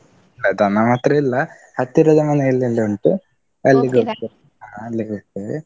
ಹ ದನ ಮಾತ್ರ ಇಲ್ಲ, ಹತ್ತಿರದ ಮನೆಯಲ್ಲೆಲ್ಲಾ ಉಂಟು, ಅಲ್ಲಿಗ್ ಹೋಗ್ತೇವೆ.